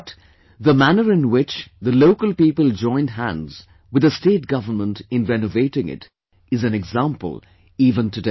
But, the manner in which the local people joined hands with the state Government in renovating it, is an example even today